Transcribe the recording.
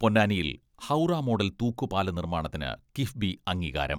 പൊന്നാനിയിൽ ഹൗറ മോഡൽ തൂക്കുപാല നിർമ്മാണത്തിന് കിഫ്ബി അംഗീകാരം.